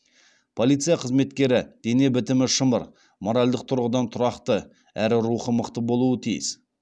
полиция қызметкері дене бітімі шымыр моральдық тұрғыдан тұрақты әрі рухы мықты болуы тиіс